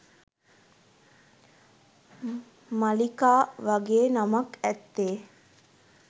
මලීකා වගේ නමක් ඇත්තේ